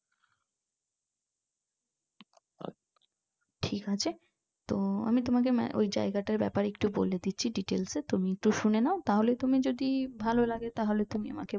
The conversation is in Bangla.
ঠিক আছে আমি তোমাকে ওই জায়গাটার ব্যাপার এ একটু বলে দিচ্ছি details এ একটু শুনে নাও তাহলে তুমি যদি ভালো লাগে তাহলে তুমি আমাকে